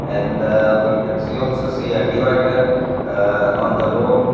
and uhh we can see also see a divider uhh on the road.